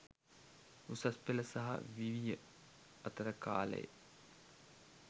උසස්පෙළ සහ විවිය අතර කාලේ.